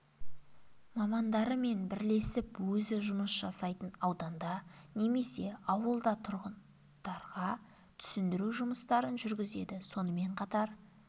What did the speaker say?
мамандары мен бірлесіп өзі жұмыс жасайтын ауданда немесе ауылда тұрғындарға түсіндіру жұмыстарын жүргізеді сонымен қатар